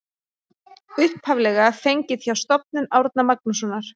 Upphaflega fengið hjá Stofnun Árna Magnússonar.